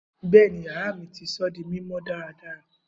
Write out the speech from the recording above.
Bẹẹni, yara mi ti sọ di mimọ daradara.